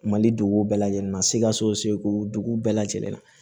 Mali duguw bɛɛ lajɛlen na sikasoko dugu bɛɛ lajɛlen na